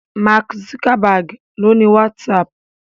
Mark Zuckerberg ló ní WhatsApp